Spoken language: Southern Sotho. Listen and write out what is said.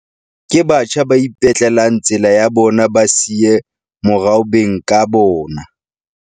Ke batjha ba ipetlelang tsela ya bona ba sa siye morao beng ka bona.